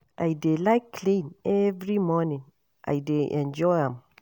I dey like clean every morning, I dey enjoy am.